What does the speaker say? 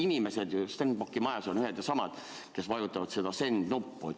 Inimesed Stenbocki majas on ju ühed ja samad, kes vajutavad Send-nuppu.